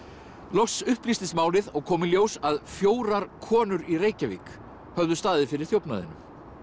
loks upplýstist málið og kom í ljós að fjórar konur í Reykjavík höfðu staðið fyrir þjófnaðinum